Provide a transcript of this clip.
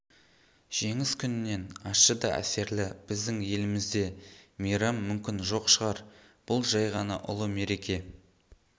жеңіс күнінен ащы да әсерлі біздің елімізде мейрам мүмкін жоқ шығар бұл жай ғана ұлы мереке